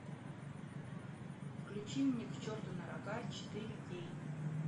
включи мне к черту на рога четыре кей